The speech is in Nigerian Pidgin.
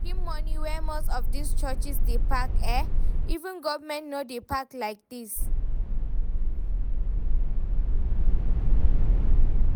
The kyn money wey most of dis churches dey pack eh, even government no dey pack like dis